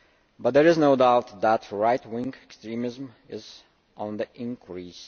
but there is no doubt that right wing extremism is on the increase.